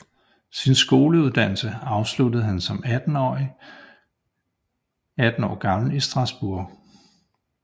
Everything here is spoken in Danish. Sin skoledannelse afsluttede han 18 år gammel i Strasbourg